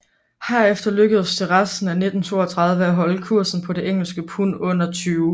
Herefter lykkedes det resten af 1932 at holde kursen på engelske pund under 20